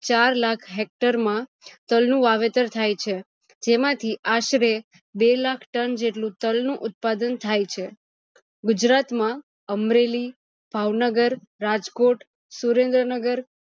ચાર લાખ hector માં તલ નું વાવેતર થાય છે જેમાંથી આશરે બે લાખ tonne જેટલું તલ નું ઉતાદન થાય છે ગુજરાત માં અમરેલી, ભાવનગર, રાજકોટ, સુરેન્દ્રનગર